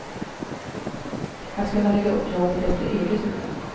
Att kunna lägga upp jobbet efter eget huvud.